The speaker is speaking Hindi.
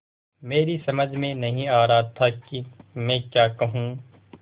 मेरी समझ में नहीं आ रहा था कि मैं क्या कहूँ